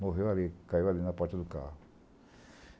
Morreu ali, caiu ali na porta do carro.